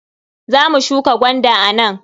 Za mu shuka gwanda a nan.